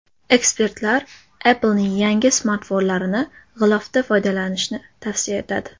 Ekspertlar Apple’ning yangi smartfonlarini g‘ilofda foydalanishni tavsiya etadi.